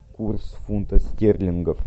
курс фунта стерлингов